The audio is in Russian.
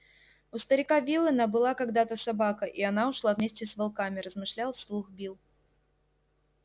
у старика виллэна была когда-то собака и она ушла вместе с волками размышлял вслух билл